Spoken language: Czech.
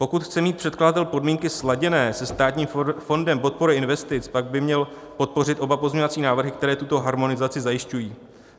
Pokud chce mít předkladatel podmínky sladěné se Státním fondem podpory investic, pak by měl podpořit oba pozměňovací návrhy, které tuto harmonizaci zajišťují.